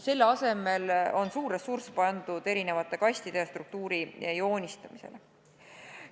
Selle asemel on suur ressurss eraldatud erinevate kastide ja struktuuri joonistamiseks.